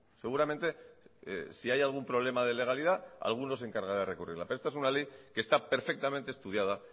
seguramente si hay algún problema de legalidad alguno de encargará de recurrirla pero esta es una ley que está perfectamente estudiada